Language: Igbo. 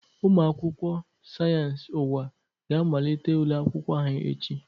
Ụmụ akwụkwọ Sayensi Ụwa ga amalite ule akwụkwọ ha echi.